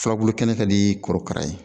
Furabulu kɛnɛ ka dii kɔrɔkara ye